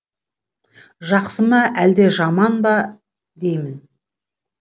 жақсы ма әлде жаман ба деймін